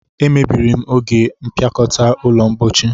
E mebiri m ogbe mpiakota ulo mpochi